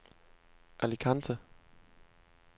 Alicante